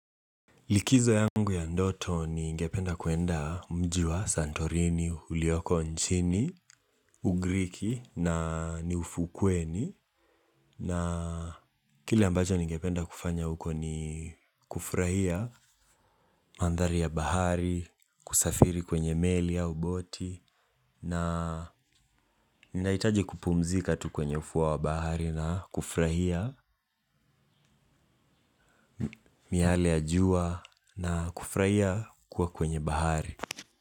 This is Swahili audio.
Likizo yangu ya ndoto ningependa kuenda mji wa Santorini, ulioko nchini, ugriki na niufukweni. Na kile ambacho ningependa kufanya huko ni kufurahia mandhari ya bahari, kusafiri kwenye meli au boti. Na ninaitaji kupumzika tu kwenye ufuo wa bahari na kufurahia miyale ya jua na kufurahia kuwa kwenye bahari.